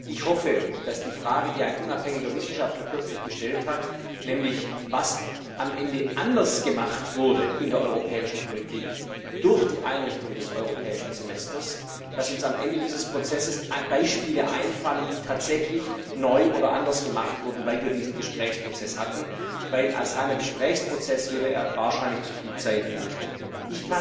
Ich hoffe, dass uns auf die Frage, die ein unabhängiger Wissenschaftler kürzlich gestellt hat, nämlich was am Ende anders gemacht wurde in der europäischen Politik durch die Einrichtung des Europäischen Semesters, am Ende dieses Prozesses Beispiele einfallen, die tatsächlich neu oder anders gemacht wurden, weil wir diesen Gesprächsprozess hatten, denn als reiner Gesprächsprozess würde er wahrscheinlich zu viel Zeit in Anspruch nehmen.